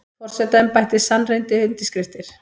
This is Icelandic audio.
Forsetaembættið sannreyndi undirskriftir